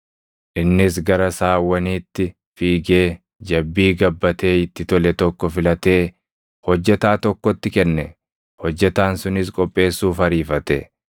Innis gara saawwaniitti fiigee jabbii gabbatee itti tole tokko filatee hojjetaa tokkotti kenne; hojjetaan sunis qopheessuuf ariifate.